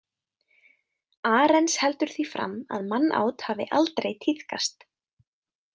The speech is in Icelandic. Arens heldur því fram að mannát hafi aldrei tíðkast.